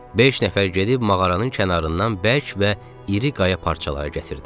Beş nəfər gedib mağaranın kənarından bərk və iri qaya parçaları gətirdi.